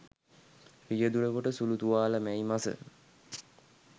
රියදුරකුට සුළු තුවාල මැයි මස